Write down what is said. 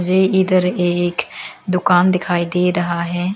ये इधर एक दुकान दिखाई दे रहा है।